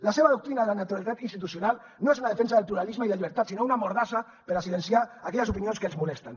la seva doctrina de la neutralitat institucional no és una defensa del pluralisme i la llibertat sinó una mordassa per silenciar aquelles opinions que els molesten